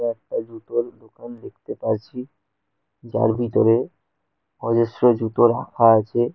একটা জুতোর দোকান দেখতে পাচ্ছি যার ভিতরে অজস্র জুতো রাখা আছে।